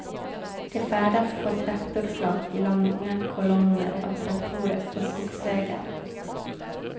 De färdas på traktorflak i långa kolonner av traktorer på skogsvägar.